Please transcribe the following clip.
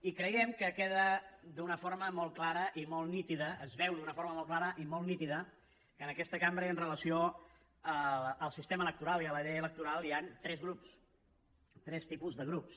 i creiem que queda d’una forma molt clara i molt nítida es veu d’una forma molt clara i molt nítida que en aquesta cambra i amb relació al sistema electoral i a la llei electoral hi han tres grups tres tipus de grups